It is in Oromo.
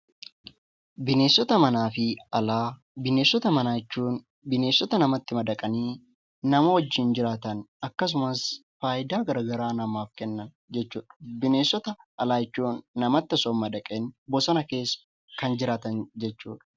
Bineensota manaa fi alaa. Bineensota manaa jechuun bineensota namatti madaqanii nama wajjiin jiraatan akkasumas faayidaa garaa garaa namaaf Kennan jechuudha. Bineensota alaa jechuun namatti osoo hin madaqin bosona keessa kan jiraatan jechuudha.